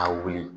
A wuli